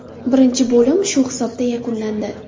Birinchi bo‘lim shu hisobda yakunlandi.